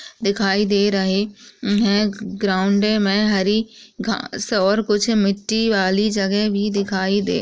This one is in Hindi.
दिखाई दे रहे उम्म् हैं। ग्राउंड में हरी घास और कुछ मिट्टी वाली जगह भी दिखाई दे --